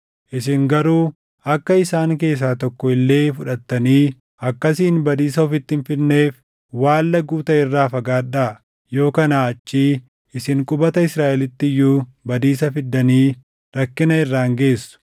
Isin garuu akka isaan keessaa tokko illee fudhattanii akkasiin badiisa ofitti hin fidneef waan laguu taʼe irraa fagaadhaa. Yoo kanaa achii isin qubata Israaʼeliitti iyyuu badiisa fiddanii rakkina irraan geessu.